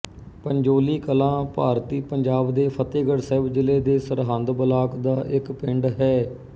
ਪੰਜੋਲੀ ਕਲਾਂ ਭਾਰਤੀ ਪੰਜਾਬ ਦੇ ਫ਼ਤਹਿਗੜ੍ਹ ਸਾਹਿਬ ਜ਼ਿਲ੍ਹੇ ਦੇ ਸਰਹਿੰਦ ਬਲਾਕ ਦਾ ਇੱਕ ਪਿੰਡ ਹੈ